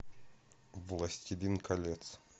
властелин колец